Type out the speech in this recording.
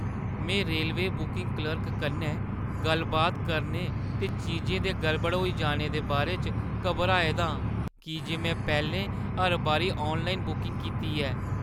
मैं railway booking clerk कन्नै गल्ल-बात करने ते चीजें दे गड़बड़ होई जीने दे बारे च घबराए दा आं, की जे में पैह्‌लें हर बारी ऑनलाइन बुकिंग कीती ऐ।